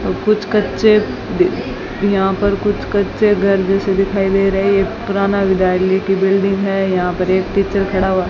कुछ कच्चे यहां पर कुछ कच्चे घर जैसे दिखाई दे रही है ये पुराना विद्यालय की बिल्डिंग है यहां पर एक टीचर खड़ा हुआ --